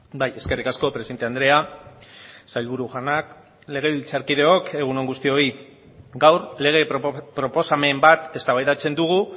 bai eskerrik asko presidente andrea sailburu jaunak legebiltzarkideok egun on guztioi gaur lege proposamen bat eztabaidatzen dugu